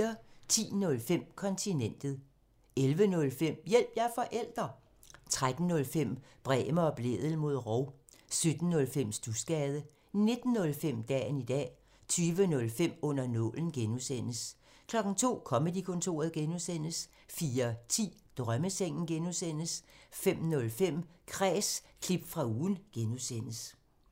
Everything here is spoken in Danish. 10:05: Kontinentet 11:05: Hjælp – jeg er forælder! 13:05: Bremer og Blædel mod rov 17:05: Studsgade 19:05: Dagen i dag 20:05: Under nålen (G) 02:00: Comedy-kontoret (G) 04:10: Drømmesengen (G) 05:05: Kræs – klip fra ugen (G)